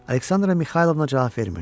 Aleksandra Mixaylovna cavab vermirdi.